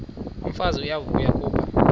umfazi uyavuya kuba